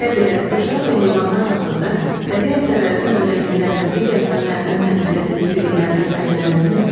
Təbiət, quşlar və heyvanlar haqqında bədii əsərlərdən öyrəndikləriniz digər fənlərdən mənimsədiyiniz biliklərdən fərqlənirmi?